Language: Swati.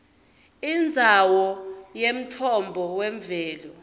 indzawo yemtfombo wemvelo